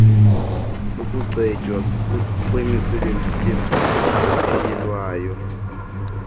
yokucetywa kwemisetyenzana eyilwayo